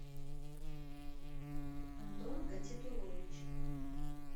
антон гатитулович